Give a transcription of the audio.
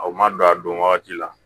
A ma don a don wagati la